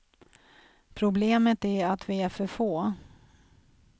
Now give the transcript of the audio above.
Problemet är att vi är för få.